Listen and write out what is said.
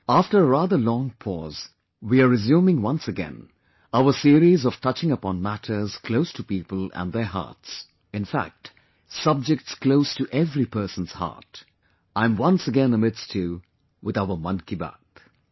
After a rather long pause, we are resuming once again, our series of touching upon matters close to people and their hearts; in fact subjects close to every person's heart... I am once again amidst you with our 'Mann Ki Baat'